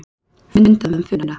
Fundað um Funa